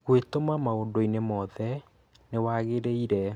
Gwĩtũma maũndũinĩ mothe nĩwagĩrĩire